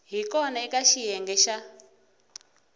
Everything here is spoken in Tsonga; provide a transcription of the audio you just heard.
hi kona eka xiyenge xa